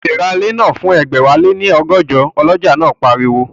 O lè ra ilẹ̀ náà fún ẹgbẹ̀wáléní ọgọ́jọ, ọlọ́jà náà pariwo